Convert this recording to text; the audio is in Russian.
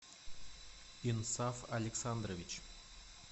инсаф александрович